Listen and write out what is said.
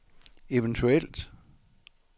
eventuelt